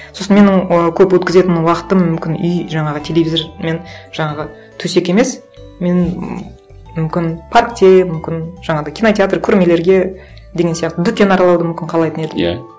сосын менің ы көп өткізетін уақытым мүмкін үй жаңағы телевизор мен жаңағы төсек емес менің м мүмкін паркте мүмкін жаңағындай кинотеатр көрмелерге деген сияқты дүкен аралауды мүмкін қалайтын едім иә